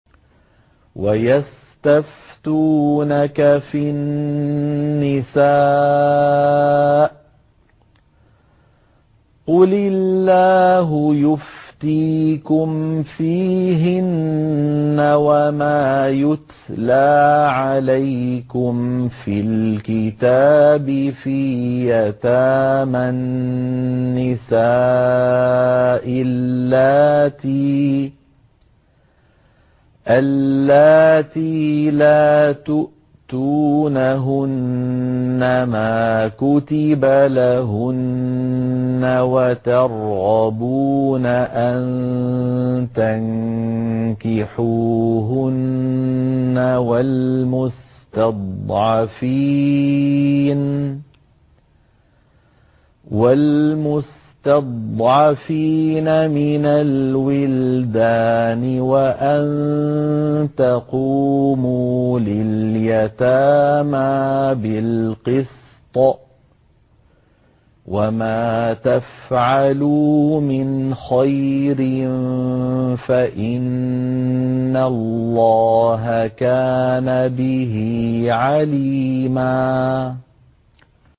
وَيَسْتَفْتُونَكَ فِي النِّسَاءِ ۖ قُلِ اللَّهُ يُفْتِيكُمْ فِيهِنَّ وَمَا يُتْلَىٰ عَلَيْكُمْ فِي الْكِتَابِ فِي يَتَامَى النِّسَاءِ اللَّاتِي لَا تُؤْتُونَهُنَّ مَا كُتِبَ لَهُنَّ وَتَرْغَبُونَ أَن تَنكِحُوهُنَّ وَالْمُسْتَضْعَفِينَ مِنَ الْوِلْدَانِ وَأَن تَقُومُوا لِلْيَتَامَىٰ بِالْقِسْطِ ۚ وَمَا تَفْعَلُوا مِنْ خَيْرٍ فَإِنَّ اللَّهَ كَانَ بِهِ عَلِيمًا